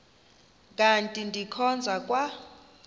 kanti ndikhonza kwa